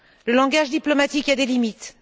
Le langage diplomatique a des limites.